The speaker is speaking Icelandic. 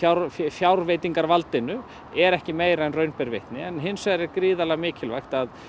fjárveitingarvaldinu er ekki meira en raun ber vitni hins vegar er mikilvægt að